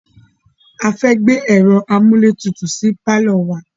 A fẹ́ gbé ẹ̀ro amúlétutù sí pálọ̀ wa.